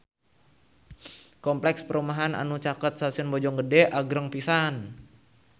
Kompleks perumahan anu caket Stasiun Bojonggede agreng pisan